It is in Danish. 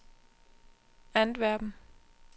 Antwerpen